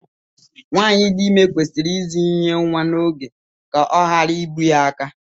Nwaanyị di ime kwesịrị ịzụ ihe nwa n'oge ka ọ ghara ibu ya aka.